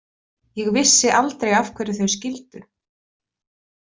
Ég vissi aldrei af hverju þau skildu.